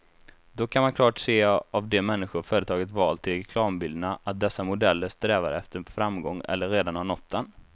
Dock kan man klart se av de människor företaget valt till reklambilderna, att dessa modeller strävar efter framgång eller redan har nått den.